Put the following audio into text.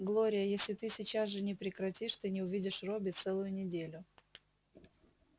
глория если ты сейчас же не прекратишь ты не увидишь робби целую неделю